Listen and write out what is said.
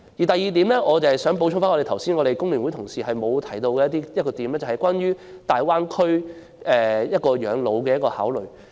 第二，我想補充剛才工聯會同事沒有提到的一點，便是關於在大灣區養老的考慮。